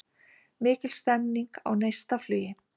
Mikil stemming á Neistaflugi